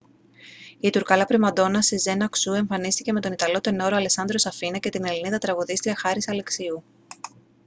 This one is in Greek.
η τουρκάλα πριμαντόνα σεζέν αξού εμφανίστηκε με τον ιταλό τενόρο αλεσάντρο σαφίνα και την ελληνίδα τραγουδίστρια χάρις αλεξίου